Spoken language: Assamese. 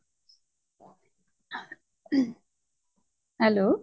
hello